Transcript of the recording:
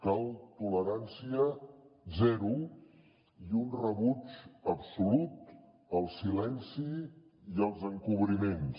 cal tolerància zero i un rebuig absolut al silenci i als encobriments